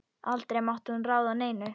Aldrei mátti hún ráða neinu.